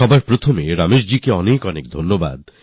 সবার আগে রমেশ জী আপনাকে অনেক অনেক ধন্যবাদ